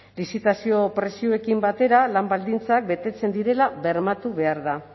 lizitazio prezioarekin batera lan baldintzak betetzen direla bermatu behar da